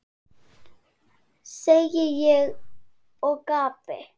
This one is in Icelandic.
segi ég og gapi.